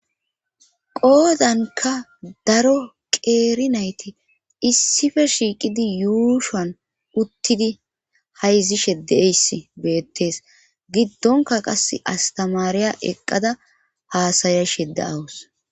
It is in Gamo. qoodanka daro qeeri nayti issife shiiqidi yuushan uttidi hayzi shedeeys beettees giddonka qas astamaariya eqqada haasayashe de 'awus